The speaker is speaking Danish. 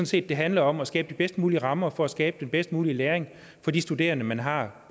set det handler om at skabe de bedst mulige rammer for at skabe den bedst mulige læring for de studerende man har